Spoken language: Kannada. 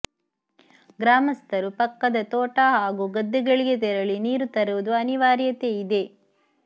ಗ್ರಾಮಸ್ಥರು ಪಕ್ಕದ ತೋಟ ಹಾಗೂ ಗದ್ದೆಗಳಿಗೆ ತೆರಳಿ ನೀರು ತರುವುದು ಅನಿವಾರ್ಯತೆ ಇದೆ